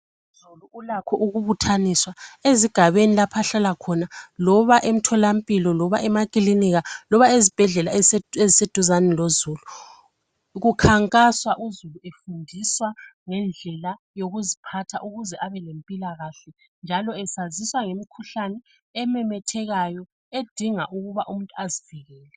Uzulu ulakho ukubuthaniswa ezigabeni lapha hlala khona loba emtholampilo loba emakilinika loba ezibhedlela eziseduzane lozulu kukhankaswa uzulu efundiswa ngendlela yokuziphatha ukuze abelempilakahle njalo esaziswa ngemikhuhlane ememethekayo edinga ukuba umuntu azivikele.